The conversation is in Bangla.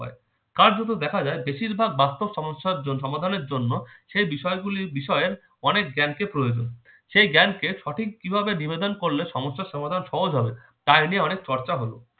কার্যত দেখা যায় বেশিরভাগ বাস্তব সমস্যার জন্য সমাধানের জন্য সেই বিষয়গুলির বিষয়ে অনেক জ্ঞানকে প্রয়োজনকে সেই জ্ঞানকে সঠিক কিভাবে নিবেদন করলে সমস্যার সমাধান সহজ হবে তাই নিয়ে অনেক চর্চা হলো